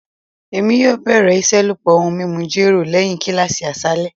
Emi yoo bẹrẹ iṣelọpọ ohun mimu jero lẹhin kilasi aṣalẹ